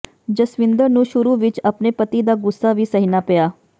ਜਸਵਿੰਦਰ ਨੂੰ ਸ਼ੁਰੂ ਵਿੱਚ ਆਪਣੇ ਪਤੀ ਦਾ ਗ਼ੁੱਸਾ ਵੀ ਸਹਿਣਾ ਪਿਆ